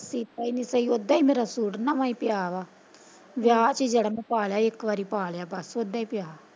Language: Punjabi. ਸੀਤਾ ਹੀ ਨਹੀਂ ਸਹੀ ਉਦਾ ਮੇਰਾ ਸੂਟ ਨਵਾਂ ਹੀ ਪਿਆ ਵਾ ਵਿਆਹ ਚ ਜਿਹੜਾ ਪਾ ਲਿਆ ਇੱਕ ਵਾਰੀ ਪਾ ਲਿਆ ਬਸ ਉਦਾ ਪਿਆ।